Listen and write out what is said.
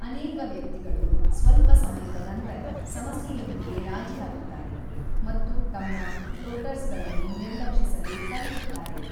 ಅನೇಕ ವ್ಯಕ್ತಿಗಳು ಸ್ವಲ್ಪ ಸಮಯದ ನಂತರ ಸಮಸ್ಯೆಯೊಂದಿಗೆ ರಾಜಿಯಾಗುತ್ತಾರೆ ಮತ್ತು ತಮ್ಮ ಫ್ಲೋಟರ್ಸಗಳನ್ನು ನಿರ್ಲಕ್ಷಿಸಲು ಕಲಿಯುತ್ತಾರೆ.